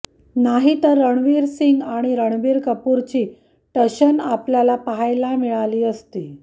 नाही तर रणवीर सिंग आणि रणबीर कपूरची टशन आपल्याला पाहायला मिळाली असती